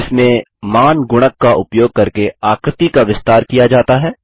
जिसमें मान गुणक का उपयोग करके आकृति का विस्तार किया जाता है